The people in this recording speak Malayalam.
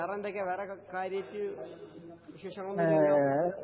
വേറെ എന്തൊക്കെയാ വേറെ കാര്യയിട്ട് വിശേഷങ്ങളൊന്നുമില്ലല്ലോ